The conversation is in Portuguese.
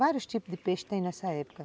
Vários tipos de peixe tem nessa época.